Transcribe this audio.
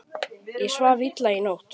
Ég svaf illa í nótt.